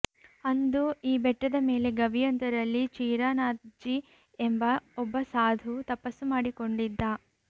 ಅಂದು ಈ ಬೆಟ್ಟದ ಮೇಲೆ ಗವಿಯೊಂದರಲ್ಲಿ ಚೀರ ನಾಥ್ಜಿ ಎಂಬ ಒಬ್ಬ ಸಾಧು ತಪಸ್ಸು ಮಾಡಿಕೊಂಡಿದ್ದ